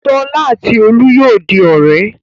Ṣọlá àti Olú yóò di ọ̀rẹ́.